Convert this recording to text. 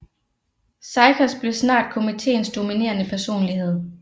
Sykers blev snart komiteens dominerende personlighed